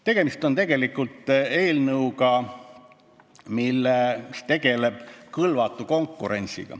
Tegemist on eelnõuga, mis käsitleb kõlvatut konkurentsi.